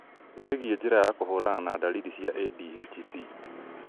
wĩgiĩ njĩra ya kũhũrana na ndariri cia ADHD